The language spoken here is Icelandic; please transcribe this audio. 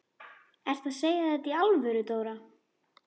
Ertu að segja þetta í alvöru, Dóra?